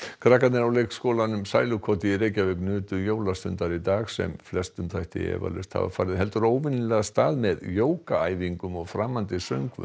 krakkarnir á leikskólanum sælukoti í Reykjavík nutu jólastundar í dag sem flestum þætti eflaust hafa farið heldur óvenjulega af stað með jógaæfingum og framandi söngvum